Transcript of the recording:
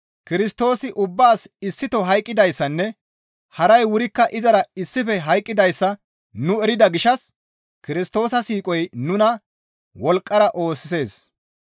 Kirstoosi ubbaas issito hayqqoyssanne haray wurikka izara issife hayqqidayssa nu erida gishshas Kirstoosa siiqoy nuna wolqqara oosisees.